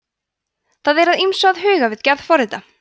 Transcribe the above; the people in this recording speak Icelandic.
það er að ýmsu að huga við gerð forrita